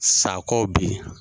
Sakɔ bɛ yen